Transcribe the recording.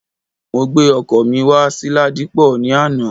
Mo gbé ọkọ̀ mi wá sí Ladipo ní àná